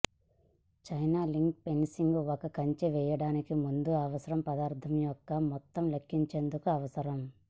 chain link fencing ఒక కంచె చేయడానికి ముందు అవసరం పదార్థం యొక్క మొత్తం లెక్కించేందుకు అవసరం